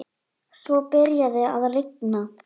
Svo byrjaði að rigna.